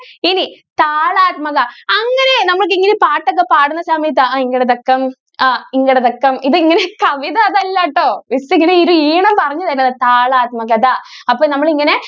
ഇനി താളാത്മകത അങ്ങനെ നമ്മൾ ഈ പാട്ട് ഒക്കെ പാടുന്ന സമയത്തു അങ്ങട് തക്കം ആഹ് ഇങ്ങട് തക്കം ഇത് ഇങ്ങനെ കവിത അതല്ല ട്ടോ miss ഇങ്ങനെ ഇത് ഈണം പറഞ്ഞു തരുവാ. താളാത്മകത. അപ്പോ നമ്മളിങ്ങനെ